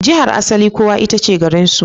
Jihar asalin kowa ita ce garinsu.